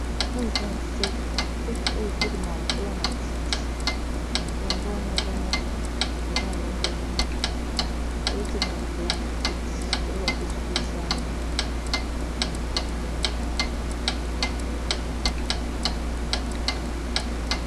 Oyo eza insecte, insecte oyo etelema likola ya matiti. Yango wana ozo mona eza na langi ya mwindu, ezo telema likolo ya matiti oyeba te soki ezo sala nini.